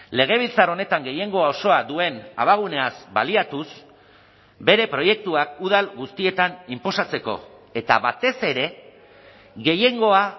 legebiltzar honetan gehiengo osoa duen abaguneaz baliatuz bere proiektuak udal guztietan inposatzeko eta batez ere gehiengoa